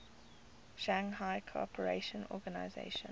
shanghai cooperation organization